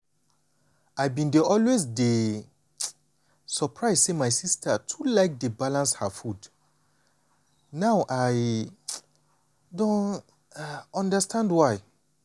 i bin dey always dey um surprise say my sister too like dey balance her food now i um don um understand why.